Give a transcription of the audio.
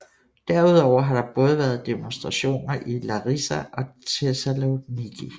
Derudover har der været demonstrationer i både Larisa og Thessaloniki